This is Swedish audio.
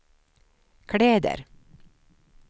kläder